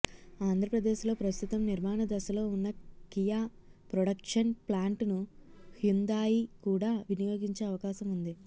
ఆంధ్రప్రదేశ్లో ప్రస్తుతం నిర్మాణ దశలో ఉన్న కియా ప్రొడక్షన్ ప్లాంటును హ్యుందాయ్ కూడా వినియోగించే అవకాశం ఉంది